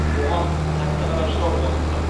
оған тәтіқара жырау қосылды